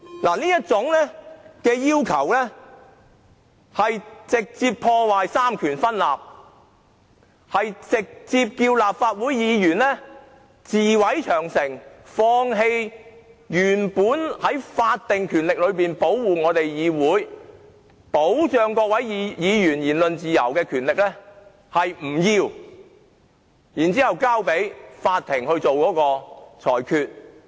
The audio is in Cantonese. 這種要求直接破壞三權分立，直接叫立法會議員自毀長城，放棄原本保護議會、保障各位議員言論自由的法定權力，由法庭代為作出裁決。